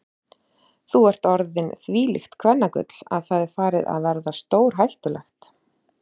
Þú ert orðinn þvílíkt kvennagull að það er farið að verða stórhættulegt.